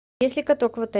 есть ли каток в отеле